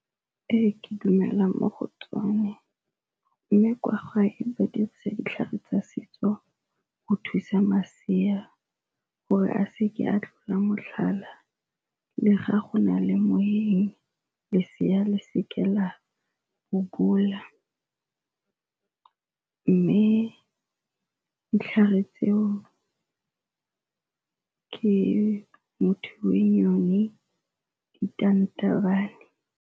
Ee, ke dumela mo go tsone mme kwa gae ba dirisa ditlhare tsa setso go thusa masea gore a seke a tlola motlhala le ga go na le moeng lesea le seke la bobola. Mme ditlhare tseo ke Muthiwenyoni, Ditantanyane.